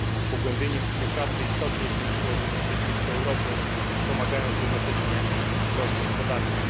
Pogłębienie współpracy istotnie zwiększyłoby bezpieczeństwo Europy, wspomagając jednocześnie wzrost gospodarczy.